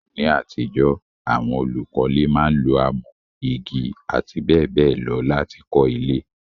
Ní àtijọ́, àwon olùkọ́le máa n lo amọ́, igi àti béèbéè lo láti kó ilé